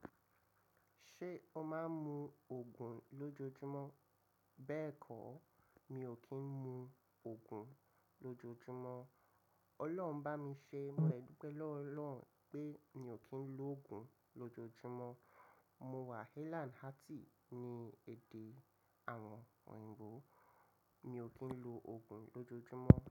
Ṣé o máa ń mu Ògùn lójoojúmọ́? Bẹ́ẹ̀kọ́, mi ò kí ń mu Ògùn lójoojúmọ́. Ọlọ́run bá mi ṣe, mo dúpẹ́ lọ́ Ọlọ́run pé mi ò kí ń lo Ògùn lójoojúmọ́. Mo wà Hale and Hearty ní èdè àwọn òyìnbó, mi ò kí ń lo Ògùn lójoojúmọ́.